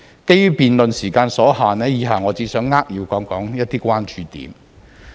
基於辯論時間所限，以下我只想扼要談談一些關注點。